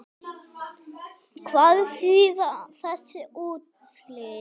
Hvað þýða þessi úrslit?